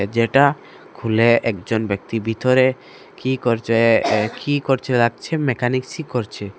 যেটা খুলে একজন ব্যক্তি বিতরে কি করছে এ কি করছে লাগছে মেকানিকসই করছে।